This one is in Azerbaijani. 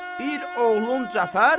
Bir oğlum Cəfər.